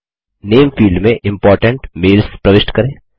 नामे field में important mails प्रविष्ट करें